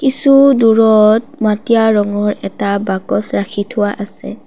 কিছু দূৰত মাটিয়া ৰঙৰ এটা বাকচ ৰাখি থোৱা আছে।